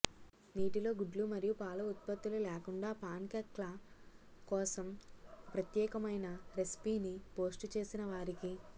నీటిలో గుడ్లు మరియు పాల ఉత్పత్తుల లేకుండా పాన్కేక్ల కోసం ప్రత్యేకమైన రెసిపీని పోస్ట్ చేసిన వారికి